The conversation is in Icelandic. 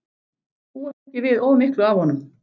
Búast ekki við of miklu af honum.